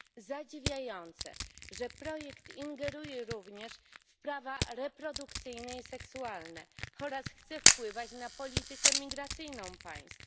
Zadziwiające, że projekt ingeruje również w prawa reprodukcyjne i seksualne oraz chce wpływać na politykę migracyjną państw.